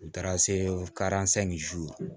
U taara se